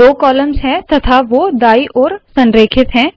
दो कॉलम्स है तथा वो दाईं ओर संरेखित है